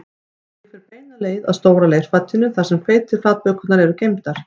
Ég fer beina leið að stóra leirfatinu þar sem hveitiflatbökurnar eru geymdar